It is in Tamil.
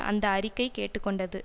அந்த அறிக்கை கேட்டு கொண்டது